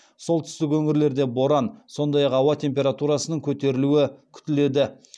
солтүстік өңірлерде боран сондай ақ ауа температурасының көтерілуі күтіледі